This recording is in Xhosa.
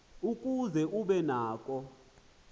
ukuze ube nako